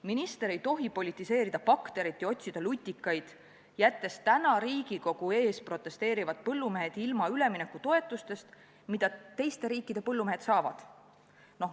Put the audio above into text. Minister ei tohi politiseerida bakterit ja otsida lutikaid, jättes täna Riigikogu ees protesteerivad põllumehed ilma üleminekutoetustest, mida teiste riikide põllumehed saavad.